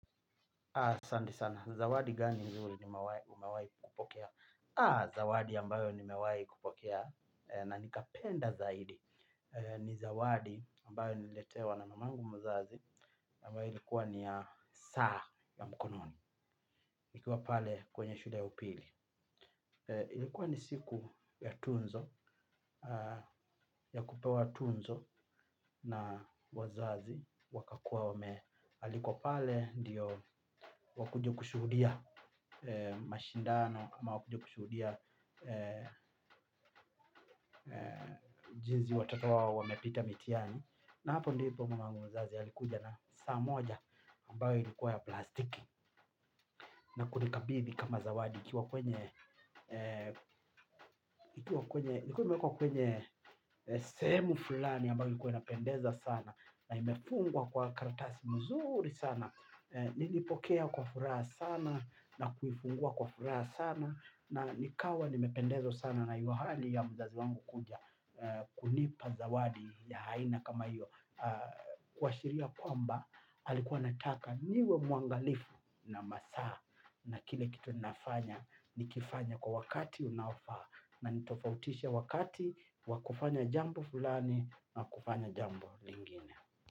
Zawadi gani umewai kupokea? Zawadi ambayo nimewai kupokea na nikapenda zaidi. Ni zawadi ambayo niletewa na mamangu mzazi ambayo ilikuwa ni ya saa ya mkononi nikiwa pale kwenye shule ya upili ilikuwa ni siku ya tuzo ya kupewa tuzo na wazazi wakakuwa wamealikwa pale ndio wakuje kushuhudia mashindano ama wakuje kushuhudia jinsi watoto wao wamepita mitihani. Na hapo ndipo mamangu mzazi alikuja na saa moja ambayo ilikuwa ya plastiki na kunikabithi kama zawadi ikiwa kwenye sehemu fulani ambayo ilikuwa inapendeza sana. Na imefungwa kwa karatasi mzuri sana. Nilipokea kwa furaha sana na kuifungua kwa furaha sana na nikawa nimependezwa sana na hiyo hali ya mzazi wangu kuja kunipa zawadi ya aina kama hiyo kuwashiria kwamba alikuwa anataka niwe muangalifu na masaa na kile kitu ninafanya nikifanya kwa wakati unaofaa na nitofautishe wakati wa kufanya jambo fulani na kufanya jambo lingine.